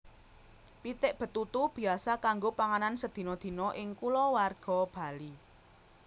Pitik betutu biasa kanggo panganan sadina dina ing kulawarga Bali